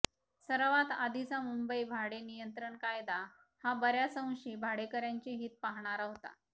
सर्वात आधीचा मुंबई भाडेनियंत्रण कायदा हा बऱ्याच अंशी भाडेकऱ्यांचे हित पाहणारा होता